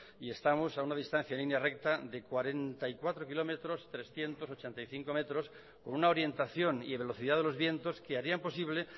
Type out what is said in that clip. y estamos a una distancia en línea recta de cuarenta y cuatro kilómetros trescientos ochenta y cinco metros con una orientación y velocidad de los vientos que harían posible